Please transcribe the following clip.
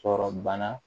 Sɔrɔ bana